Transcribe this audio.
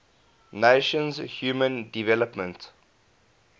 nations human development